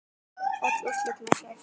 Öll úrslit má sjá hérna.